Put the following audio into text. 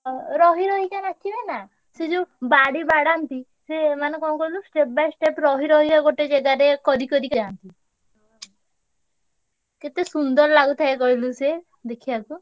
ହଁ ରହି ରହିକ ନାଚିବେ ନା ସେ ଯୋଉ ବାଡି ବାଡାନ୍ତି ସିଏ ମାନେ କଣ କହିଲୁ step by step ରହି ରହି ଗୋଟେ ଜାଗାରେ କରି କରିକା କେତେ ସୁନ୍ଦର ଲାଗୁଥାଏ କହିଲୁ ସେ ଦେଖିଆକୁ।